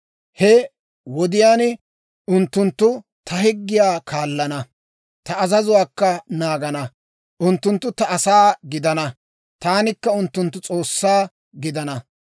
He wodiyaan unttunttu ta higgiyaa kaallana; ta azazuwaakka naagana. Unttunttu ta asaa gidana; taanikka unttunttu S'oossaa gidana.